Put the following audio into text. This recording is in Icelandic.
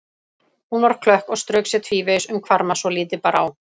Hún var klökk og strauk sér tvívegis um hvarma svo lítið bar á.